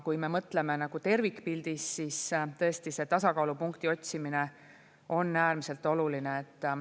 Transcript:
Kui me mõtleme tervikpildis, siis tõesti see tasakaalupunkti otsimine on äärmiselt oluline.